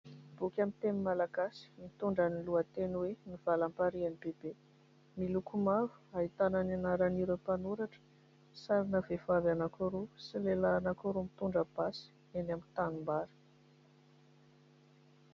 Boky amin'ny teny Malagasy mitondra ny lohateny hoe : "Ny valamparian'i Bebe". Miloko mavo ahitana ny anaran'ireo mpanoratra, sarina vehivavy anankiroa sy lehilahy anankiroa mitondra basy eny amin'ny tanimbary.